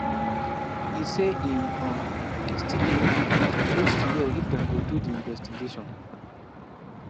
e say im um still dey um wait to hear if dem go do di investigation